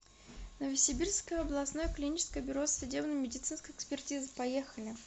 новосибирское областное клиническое бюро судебно медицинской экспертизы поехали